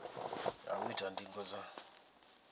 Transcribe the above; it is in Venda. ya u ita ndingo dza